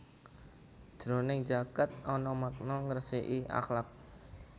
Jroning zakat ana makna ngresiki akhlak